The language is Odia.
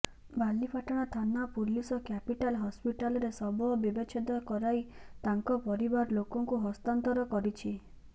ବାଲିପାଟଣା ଥାନା ପୁଲିସ କ୍ୟାପିଟାଲ ହସ୍ପିଟାଲରେ ଶବ ବ୍ୟବଚ୍ଛେଦ କରାଇ ତାଙ୍କ ପରିବାର ଲୋକଙ୍କୁ ହସ୍ତାନ୍ତର କରିଛି